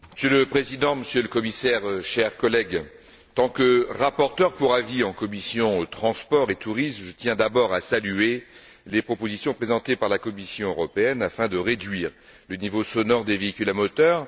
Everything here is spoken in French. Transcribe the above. Monsieur le Président, Monsieur le Commissaire, chers collègues, en tant que rapporteur pour avis de la commission des transports et du tourisme, je tiens d'abord à saluer les propositions présentées par la Commission européenne afin de réduire le niveau sonore des véhicules à moteur.